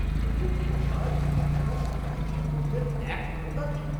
বলব কি মশায়, বেটার শরীরে ধর্ম্মজ্ঞান এক ফোঁটা নেই!